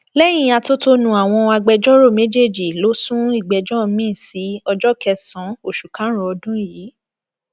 lẹyìn atótónu àwọn agbẹjọrò méjèèjì ló sún ìgbẹjọ miín sí ọjọ kẹsànán oṣù karùnún ọdún yìí